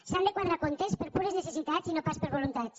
s’han de quadrar comptes per pures necessitats i no pas per voluntats